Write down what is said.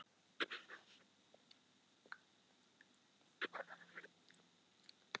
Sá á örgrunnt, strax eftir jarðvinnslu og valta eftir sáningu.